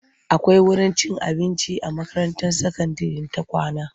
Akwai wurin cin abinci a makaranta sakandire ta kawna.